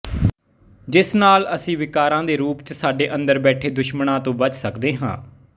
ਜਿਸ ਨਾਲ ਅਸੀਂ ਵਿਕਾਰਾਂ ਦੇ ਰੂਪ ਚ ਸਾਡੇ ਅੰਦਰ ਬੈਠੇ ਦੁਸ਼ਮਣਾਂ ਤੋਂ ਬਚ ਸਕਦੇ ਹਾਂ